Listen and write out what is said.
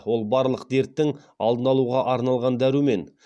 ол барлық дерттің алдын алуға арналған дәрумен